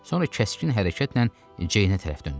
Sonra kəskin hərəkətlə Ceynə tərəf döndü.